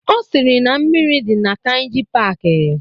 Ọ sịrị na mmiri dị na Kainji paaki